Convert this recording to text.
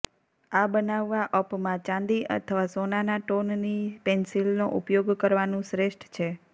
આ બનાવવા અપમાં ચાંદી અથવા સોનાના ટોનની પેંસિલનો ઉપયોગ કરવાનું શ્રેષ્ઠ છે